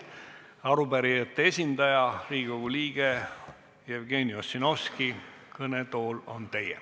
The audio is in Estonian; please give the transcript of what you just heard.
Arupärijate esindaja, Riigikogu liige Jevgeni Ossinovski, kõnetool on teie.